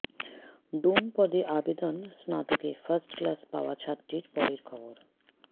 ডোম পদে আবদেন স্নাতকে ফার্স্ট ক্লাস পাওয়া ছাত্রীর পরের খবর